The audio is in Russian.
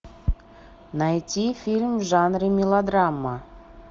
найти фильм в жанре мелодрама